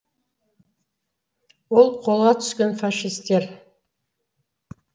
ол қолға түскен фашистер